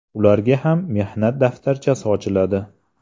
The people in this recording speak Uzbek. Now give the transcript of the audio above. Ularga ham mehnat daftarchasi ochiladi.